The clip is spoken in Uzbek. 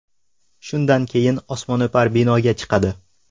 Shundan keyin osmono‘par binoga chiqadi.